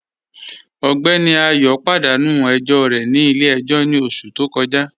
Ọgbẹ́ní Ayọ̀ padanu ẹ̀jọ rẹ̀ ni ilẹ̀-ẹ̀jọ̀ ni oṣù tó kọja.